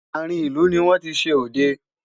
àrin ìlú ní wọn tí ṣé odẹ